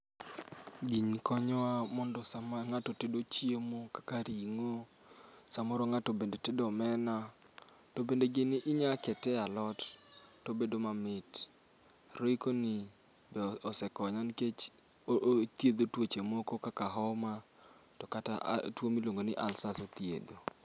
Gini konyowa mondo sama ng'ato tedo chiemo kaka ring'o samoro ng'ato bende tedo omena, to bende gini inyalo kete e alot to bedo mamit. Royco ni be osekonya nikech othiedho tuoche moko kaka homa to kata tuo miluongo ni ulcers othiedho.